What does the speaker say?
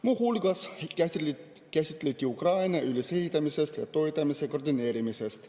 Muu hulgas käsitleti Ukraina ülesehitamist ja toetamise koordineerimist.